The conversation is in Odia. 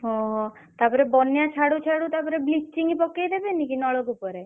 ହଁ ହଁ ତାପରେ ବନ୍ୟା ଛାଡୁ ଛାଡୁ ତାପରେ bleaching ପକେଇ ଦେବେନି କି ନଳକୂପ ରେ।